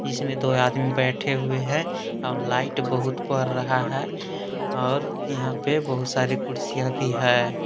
इसमें दो आदमी बैठे हुए हैं और लाइट बहुत बर रहा है और यहां पर बहुत सारी कुर्सियां भी है।